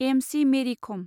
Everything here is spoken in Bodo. एम.सि. मेरि खम